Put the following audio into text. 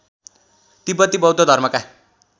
तिब्‍बती बौद्ध धर्मका